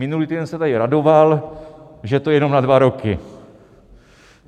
Minulý týden se tady radoval, že to je jenom na dva roky.